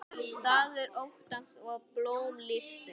Dagur óttans og blóm lífsins